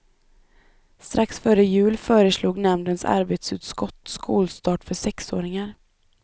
Strax före jul föreslog nämndens arbetsutskott skolstart för sexåringar.